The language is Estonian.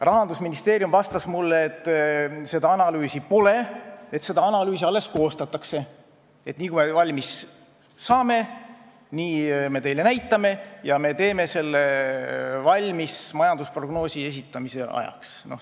Rahandusministeerium vastas mulle, et seda analüüsi pole, seda alles koostatakse, aga nii kui me valmis saame, nii me teile näitame, ja me teeme selle valmis majandusprognoosi esitamise ajaks.